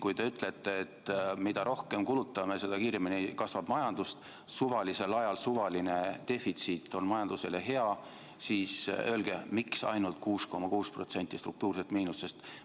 Kui te ütlete, et mida rohkem kulutame, seda kiiremini kasvab majandus, ja et suvalisel ajal suvaline defitsiit on majandusele hea, siis öelge, miks ainult 6,6% struktuurset miinust.